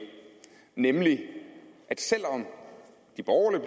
nemlig at selv om de borgerlige